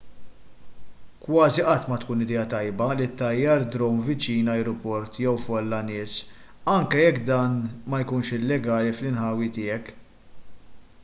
kważi qatt ma tkun idea tajba li ttajjar drone viċin ajruport jew fuq folla nies anke jekk dan ma jkunx illegali fl-inħawi tiegħek